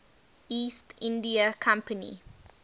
east india company